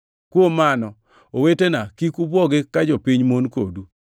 Kuom mano, owetena kik ubwogi ka jopiny mon kodu.